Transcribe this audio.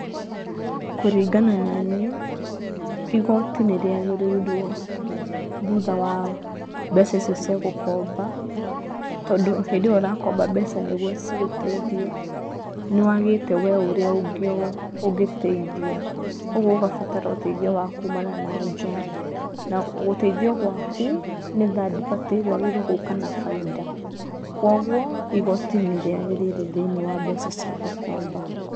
Kũringana na nĩ igoti nĩ rĩagĩrĩirwo thutha wa mbeca icio cia gũkomba. Tondũ hĩndĩyo ũrakomba mbeca nĩguo cigũteithie nĩ wagĩte we ũrĩa ũngĩteithia. Kogwo ũgabatara ũteithiyo wa kumana na nja. Na ũteithio waku nĩ third party wagĩrĩirwo gũka na bainda .Kwa ũgwo igoti nĩ rĩ agĩrĩire thĩ~inĩ wa mbeca cia gũkomba.